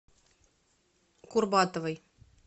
курбатовой